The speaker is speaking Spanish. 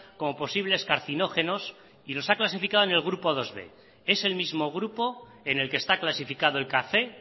como posible carcinógenos y los ha clasificado en el grupo bib es el mismo grupo en el que están clasificado el café